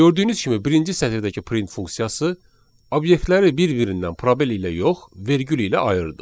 Gördüyünüz kimi birinci sətirdəki print funksiyası obyektləri bir-birindən probel ilə yox, vergül ilə ayırdı.